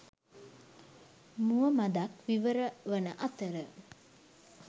මුව මඳක් විවරවන අතර